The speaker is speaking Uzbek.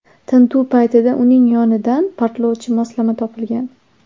Tintuv paytida uning yonidan portlovchi moslama topilgan.